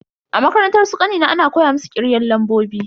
A makarantar su kanina ana koya musu kirgen lambobi.